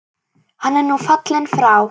Hann er nú fallinn frá.